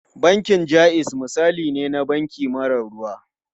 Bankin Jaiz misali ne na banki mara ruwa.